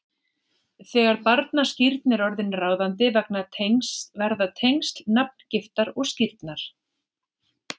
Þegar barnaskírn er orðin ráðandi verða tengsl nafngiftar og skírnar